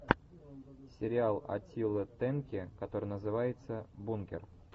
сериал аттилы тенки который называется бункер